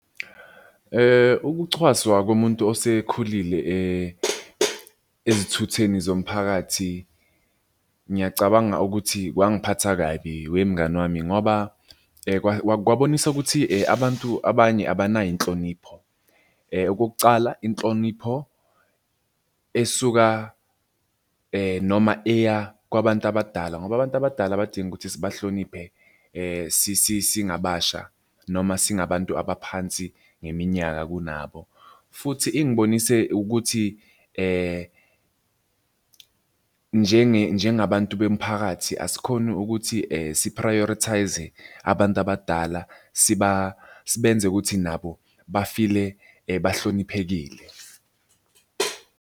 Ukuchwaswa komuntu osekhulile ezithutheni zomphakathi, ngiyacabanga ukuthi kwangiphatha kabi we mngani wami ngoba kwabonisa ukuthi abantu abanye abanayo inhlonipho. Okokucala inhlonipho esuka noma eya kwabantu abadala, ngoba abantu abadala badinga ukuthi sibahloniphe, singabasha noma singabantu abaphansi ngeminyaka kunabo, futhi ingibonise ukuthi njengabantu bemphakathi asikhoni ukuthi si-prioritise-e abantu abadala sibenze ukuthi nabo ba-feel-e bahloniphekile.